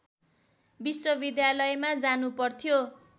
विश्वविद्यालयमा जानुपर्थ्यो